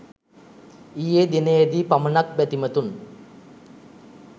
ඊයේ දිනයේ දී පමණක් බැතිමතුන්